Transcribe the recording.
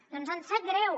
doncs ens sap greu